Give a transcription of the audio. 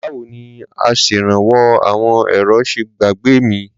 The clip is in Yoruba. Báwo ni Aṣèrànwọ́ àwọn èrò ṣe gbàgbé mi?